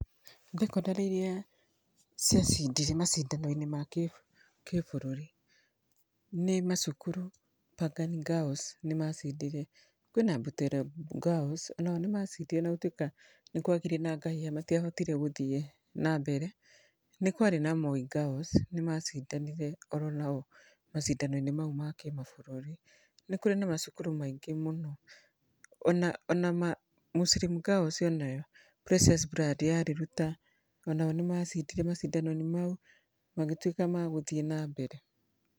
Thekondarĩ iria ciacindire macindano-inĩ makĩ, kĩbũrũri, nĩ macukuru Pangani Girls nĩmacindire. Kwĩna Butere Girls onao nĩmacindire ona gũtuĩka nĩkwakĩrĩ na ngahĩha matiahotire gũthiĩ nambere, nĩ kwarĩ na Moi Girls nĩmacindanire oro nao macindano-inĩ mau ma kĩmabũrũri. Nĩ kũrĩ na macukuru maingĩ mũno ona, onama, Muslim Girls onayo, Precious Blood ya Rirũta onao nĩmacindire macindano-inĩ mau magĩtuĩka magũthiĩ nambere.